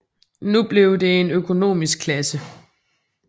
Nu blev det en økonomisk klasse